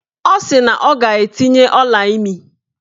Ọ sị na ọ ga-etinye ọlaimi